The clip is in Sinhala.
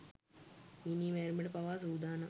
මිනී මැරිමට පවා සූදානම්.